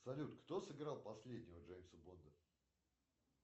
салют кто сыграл последнего джеймса бонда